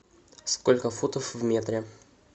сколько футов в метре